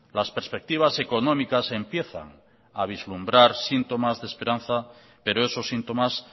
las perspectivas económicas empiezan a vislumbrar síntomas de esperanza pero esos síntomas